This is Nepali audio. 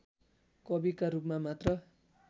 कविका रूपमा मात्र